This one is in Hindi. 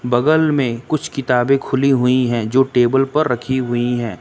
बगल में कुछ किताबें खुली हुई हैं जो टेबल पर रखी हुई हैं।